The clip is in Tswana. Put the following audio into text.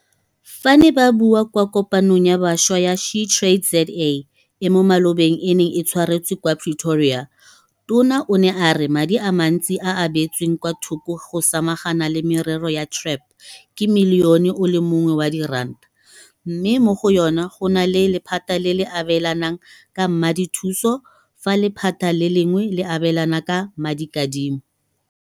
Fa a ne a bua kwa Kopanong ya Bašwa ya SheTradesZA e mo malobeng e neng e tshwaretswe kwa Pretoria, Tona o ne a re madi a mantsi a a beetsweng kwa thoko go samagana le merero ya TREP ke Milione o le mongwe wa diranta, mme mo go yona go na le lephata le le abelanang ka madithuso fa lephata le lengwe le abelana ka madikadimo.